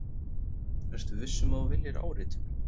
Ertu viss um að þú viljir áritun?